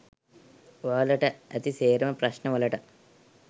ඔයාලට ඇති සේරම ප්‍රශ්න වලට